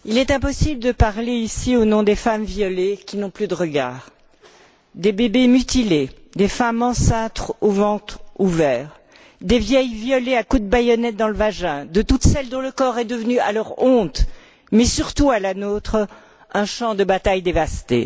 Monsieur le Président, il est impossible de parler ici au nom des femmes violées qui n'ont plus de regard, des bébés mutilés, des femmes enceintes au ventre ouvert, des vieilles violées à coups de baïonnette dans le vagin, de toutes celles dont le corps est devenu, à leur honte, mais surtout à la nôtre, un champ de bataille dévasté.